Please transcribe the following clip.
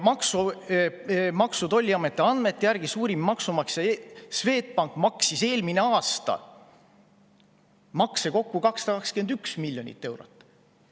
Maksu‑ ja Tolliameti andmete järgi maksis suurim maksumaksja Swedbank eelmine aasta makse kokku 221 miljonit eurot.